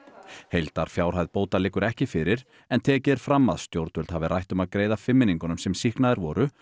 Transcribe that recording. heildarfjárhæð bóta liggur ekki fyrir en tekið er fram að stjórnvöld hafi rætt um að greiða fimmmenningunum sem sýknaðir voru